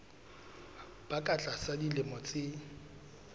ba ka tlasa dilemo tse